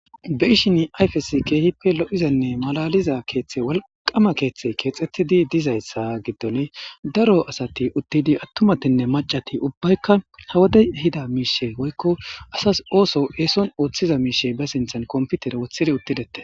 Beishin ayfes geehippe lo'izenne malaliza keeththe walqama keeththey keexxettidi dizayssa giddon daro asati uttidi attumatinne macati ubbaykka hawodey hida miishe woykko asas ooso eeson ooththiza miishe ba sinthan komputer wothidi uttidete.